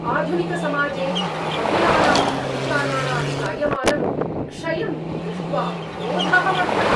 आधुनिकसमाजे महिलानाम् अधिकाराणां जायमानं क्षयं द्रष्ट्वा क्रोधः वर्धते ।